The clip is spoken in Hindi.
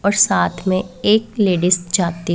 और साथ में एक लेडीज जाती--